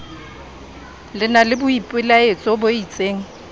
na le boipelaetso bo isteng